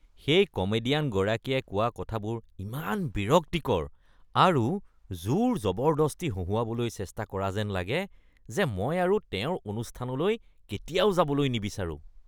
সেই কমেডিয়ানগৰাকীয়ে কোৱা কথাবোৰ ইমান বিৰক্তিকৰ আৰু জোৰজবৰদস্তি হহোঁৱাবলৈ চেষ্টা কৰা যেন লাগে যে মই আৰু তেওঁৰ অনুষ্ঠানলৈ কেতিয়াও যাবলৈ নিবিচাৰোঁ।